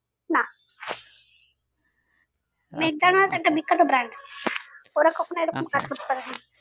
না একটা বিখ্যাত brand ওরা কখনো এরকম